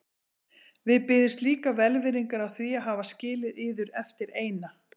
Við biðjumst líka velvirðingar á því að hafa skilið yður eftir eina.